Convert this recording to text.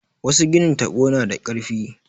Wasu ginin taɓo na da ƙarfi.